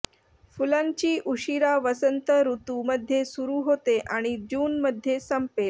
फुलांची उशिरा वसंत ऋतू मध्ये सुरु होते आणि जून मध्ये संपेल